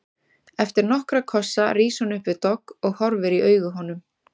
Eftir nokkra kossa rís hún upp við dogg og horfir í augu honum.